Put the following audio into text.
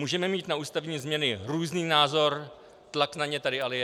Můžeme mít na ústavní změny různý názor, tlak na ně tady ale je.